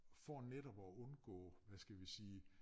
For netop at undgå hvad skal vi sige